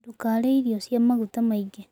Ndũkarĩe irio cia magũta maĩngĩ